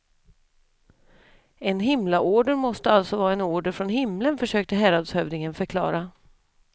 En himlaorder måste alltså vara en order från himlen, försökte häradshövdingen förklara.